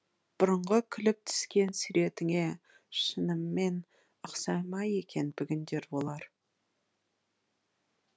бұрынғы күліп түскен суретіне шынымен ұқсай ма екен бүгінде олар